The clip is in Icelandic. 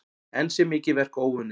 Enn sé mikið verk óunnið.